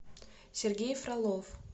сергей фролов